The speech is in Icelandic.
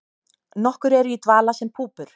Nokkur eru í dvala sem púpur.